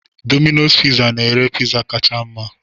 Dominos pizza na-ere Pizza kacha mma